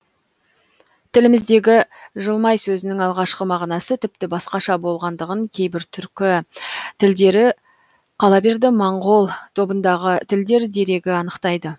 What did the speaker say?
тіліміздегі жылмай сөзінің алғашқы мағынасы тіпті басқаша болғандығын кейбір түркі тілдері қала берді моңғол тобындағы тілдер дерегі анықтайды